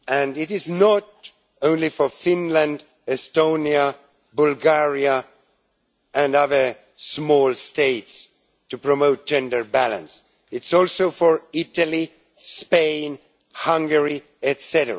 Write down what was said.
It is not only for Finland, Estonia, Bulgaria and other small states to promote gender balance. It is also for Italy, Spain, Hungary, etc.